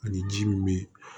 Ani ji min bɛ yen